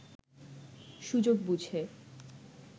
সুযোগ বুঝে